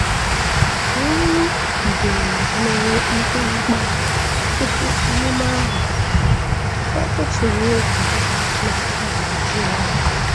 Ewu bidoro mewe mkpamkpa tupu emume ahụ, ụfọdụ tụrụ egwu na a ga-ajụ ya.